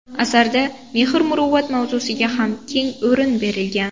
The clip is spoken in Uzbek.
Asarda mehr-muruvvat mavzusiga ham keng o‘rin berilgan.